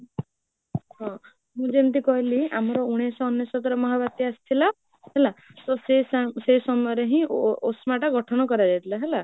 ହଁ ମୁଁ ଯେମିତି କହିଲି ଆମର ଉଣେଇସହ ଅନେଶତରେ ମହାବାତ୍ୟା ଆସିଥିଲା ହେଲା, ତ ସେ ସେଇ ସମୟରେ ହିଁ OSDMA ଟା ଗଠନ କର ଯାଇଥିଲା ହେଲା